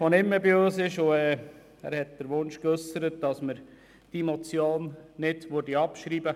Er hat den Wunsch geäussert, diese Motion sei nicht abzuschreiben.